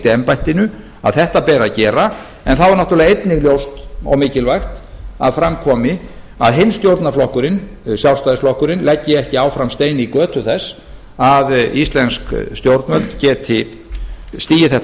embættinu að þetta beri að gera en þá er náttúrlega einnig ljóst og mikilvægt að fram komi að hinn stjórnarflokkurinn sjálfstæðisflokkurinn leggi ekki áfram stein í götu þess að íslensk stjórnvöld geti stigið þetta